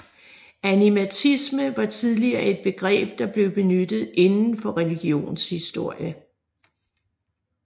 Animatisme var tidligere et begreb der blev benyttet inden for religionshistorie